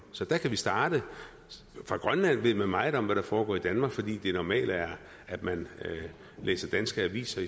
så der kan vi starte fra grønlands side ved man meget om hvad der foregår i danmark fordi det er normalt at man læser danske aviser